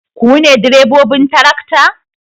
Ku ne direbobin tarakta?